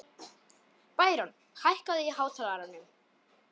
Bæron, hækkaðu í hátalaranum.